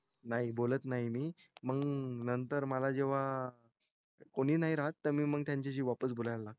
नाही बोलत नाही मी मंग नंतर मला जेव्हा कोणी नाही राहत त मंग मी त्यांच्याशी वापस बोलायला लागतो